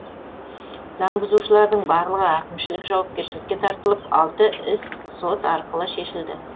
заң бұзушылардың барлығы әкімшілік жауапкершілікке тартылып алты іс сот арқылы шешілді